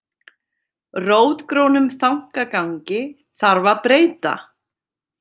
Rótgrónum þankagangi þarf að breyta